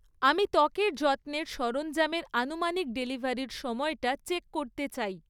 আমি ত্বকের যত্নের সরঞ্জামের আনুমানিক ডেলিভারির সময়টা চেক করতে চাই।